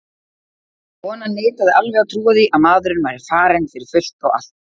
Konan neitaði alveg að trúa því að maðurinn væri farinn fyrir fullt og allt.